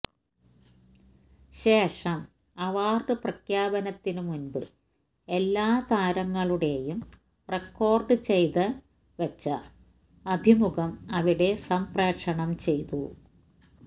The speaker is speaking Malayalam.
ശേഷം അവാർഡ് പ്രഖ്യാപനത്തിന് മുൻപ് എല്ലാ താരങ്ങളുടെയും റെക്കോർഡ് ചെയ്ത് വച്ച അഭിമുഖം അവിടെ സംപ്രേഷണം ചെയ്തു